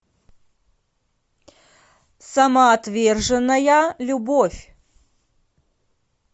самоотверженная любовь